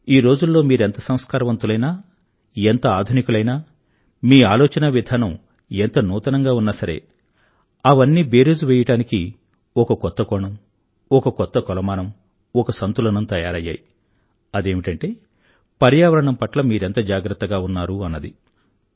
ఈ రోజుల్లో మీరెంత సంస్కారవంతులైనా ఎంత ఆధునీకులైనా మీ ఆలోచనా విధానం ఎంత నూతనంగా ఉన్నా సరే అవన్నీ బేరీజు వెయ్యడానికి ఒక కొత్త కోణం ఒక కొత్త కొలమానం ఒక సంతులనం తయారయ్యాయి అదేమిటంటే పర్యావరణం పట్ల మీరెంత జాగ్రత్తగా ఉన్నారు అన్నది